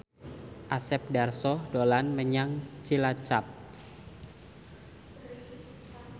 Asep Darso dolan menyang Cilacap